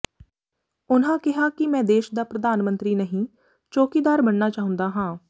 ਉਨ੍ਹਾਂ ਕਿਹਾ ਕਿ ਮੈਂ ਦੇਸ਼ ਦਾ ਪ੍ਧਾਨ ਮੰਤਰੀ ਨਹੀਂ ਚੌਕੀਦਾਰ ਬਣਨਾ ਚਾਹੁੰਦਾ ਹਾਂ